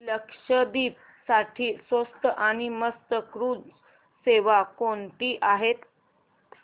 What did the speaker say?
लक्षद्वीप साठी स्वस्त आणि मस्त क्रुझ सेवा कोणती आहे